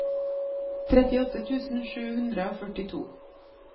trettiåtte tusen sju hundre og førtito